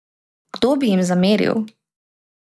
Kdo bi jim zameril?